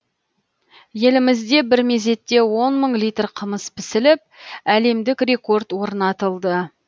елімізде бір мезетте он мың литр қымыз пісіліп әлемдік рекорд орнатылды